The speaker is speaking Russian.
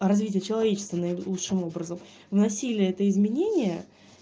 а развитие человечества наилучшим образом вносили это изменение